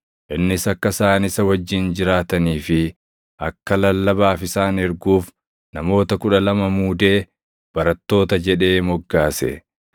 Innis akka isaan isa wajjin jiraatanii fi akka lallabaaf isaan erguuf namoota kudha lama muudee barattoota jedhee moggaase;